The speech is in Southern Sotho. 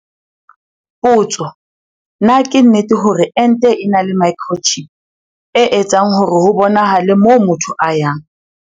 Potso- Na ke nnete hore ente e na le microchip, e etsang hore ho bonahale moo motho a yang?